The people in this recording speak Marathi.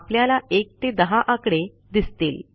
आपल्याला 1 ते 10 आकडे दिसतील